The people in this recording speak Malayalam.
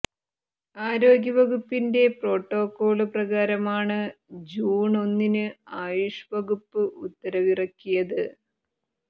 ആരോഗ്യ വകുപ്പിന്റെ പ്രോട്ടോകോള് പ്രകാരമാണ് ജൂണ് ഒന്നിന് ആയുഷ് വകുപ്പ് ഉത്തരവിറക്കിയത്